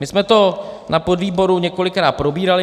My jsme to na podvýboru několikrát probírali.